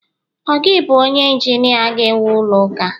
ọ gi bu onye injinia ga ewu ulo uka?